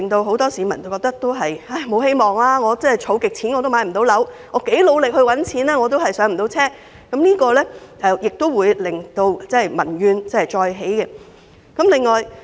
很多市民因而感到無望，覺得自己拼命儲蓄和賺錢都無法"上車"，這個問題會令民怨再起。